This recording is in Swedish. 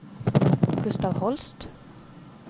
Gustaf Holst